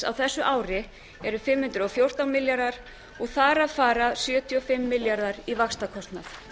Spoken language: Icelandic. á þessu ári eru fimm hundruð og fjórtán milljarðar og þar af fara sjötíu og fimm milljarðar í vaxtakostnað